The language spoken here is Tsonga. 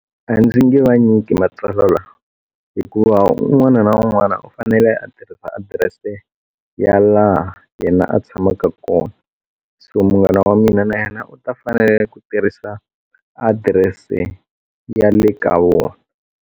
A ndzi nge vanyiki matsalwa lawa hikuva un'wana na un'wana u fanele a tirhisa adirese ya laha yena a tshamaka kona so munghana wa mina na yena u ta fanele ku tirhisa address ya le ka vona.